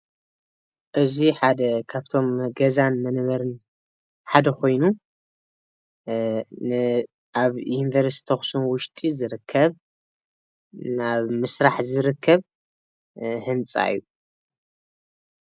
እዚ ሓደ ካብቶም ገዛን መንበርን ሓደ ኮይኑ ኣብ ዩኒቨርስቲ ኣክሱም ውሽጢ ዝርከብ ናብ ምስራሕ ዝርከብ ህንፃ እዬ ።